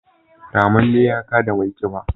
ramamme ya kada mai kiba